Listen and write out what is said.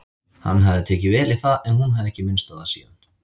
Hann hafði tekið vel í það en hún hafði ekki minnst á það síðan.